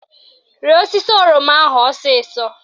Rịa osisi oroma ahụ ọsịsọ!